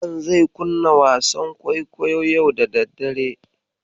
Hassan zai kunna wasan kwaikwayo yau da daddare.